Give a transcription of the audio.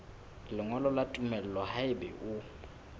lengolo la tumello haeba o